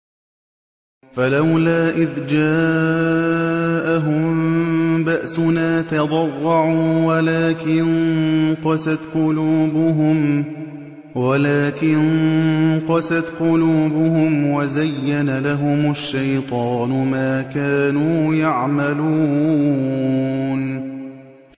فَلَوْلَا إِذْ جَاءَهُم بَأْسُنَا تَضَرَّعُوا وَلَٰكِن قَسَتْ قُلُوبُهُمْ وَزَيَّنَ لَهُمُ الشَّيْطَانُ مَا كَانُوا يَعْمَلُونَ